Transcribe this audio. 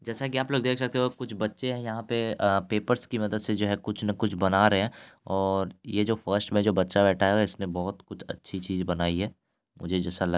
जैसा कि आप लोग देख सकते हो कुछ बच्चे यहाँ पे पेपर्स की मदद से कुछ ना कुछ बना रहे है और यह जो फर्स्ट में जो बच्चा बैठा है इसने बहुत कुछ अच्छी चीज बनाई है मुझे जैसा लग| --